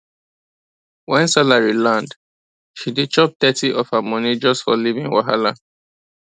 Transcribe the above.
when salary land she dey chop thirty of her money just for living wahala